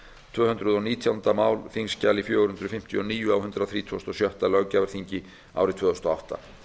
tvö hundruð og nítjánda mál þingskjal fjögur hundruð fimmtíu og níu á hundrað þrítugasta og sjötta löggjafarþingi árið tvö þúsund og átta